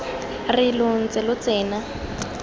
re lo ntse lo tsena